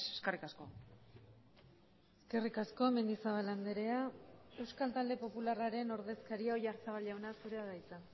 eskerrik asko eskerrik asko mendizabal andrea euskal talde popularraren ordezkaria oyarzabal jauna zurea da hitza